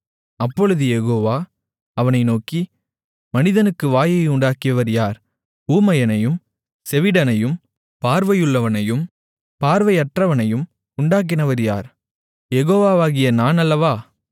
அப்பொழுது யெகோவா அவனை நோக்கி மனிதனுக்கு வாயை உண்டாக்கியவர் யார் ஊமையனையும் செவிடனையும் பார்வையுள்ளவனையும் பார்வையற்றவனையும் உண்டாக்கினவர் யார் யெகோவாவாகிய நான் அல்லவா